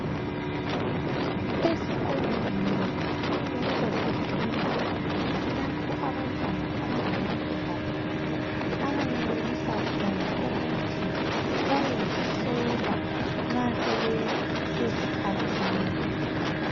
Ezikolweni kufanele kube lezindlu lapho abantwana abangamantombazana abayenelisa khona ukuthi bayezihlola nxa sebesesikhathini